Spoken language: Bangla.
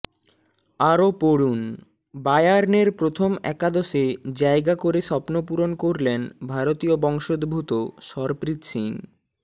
আরও পড়ুনঃবায়ার্নের প্রথম একাদশে জায়গা করে স্বপ্নপূরণ করলেন ভারতীয় বংশোদ্ভূত সরপ্রীত সিং